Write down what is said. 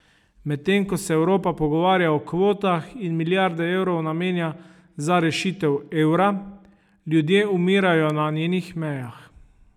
Medtem, ko se Evropa pogovarja o kvotah in milijarde evrov namenja za rešitev evra, ljudje umirajo na njenih mejah.